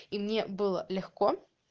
и мне было легко